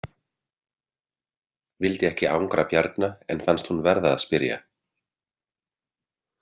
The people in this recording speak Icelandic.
Vildi ekki angra Bjarna en fannst hún verða að spyrja.